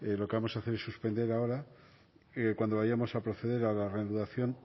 lo que vamos a hacer es suspender ahora y cuando vayamos a proceder a la reanudación